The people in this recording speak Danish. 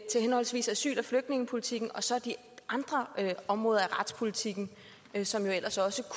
til henholdsvis asyl og flygtningepolitikken og så de andre områder af retspolitikken som vi ellers også